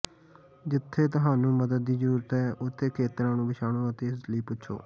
ਜਿੱਥੇ ਤੁਹਾਨੂੰ ਮਦਦ ਦੀ ਜ਼ਰੂਰਤ ਹੈ ਉੱਥੇ ਖੇਤਰਾਂ ਨੂੰ ਪਛਾਣੋ ਅਤੇ ਇਸ ਲਈ ਪੁੱਛੋ